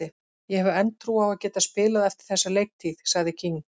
Ég hef enn trú á að geta spilað eftir þessa leiktíð, sagði King.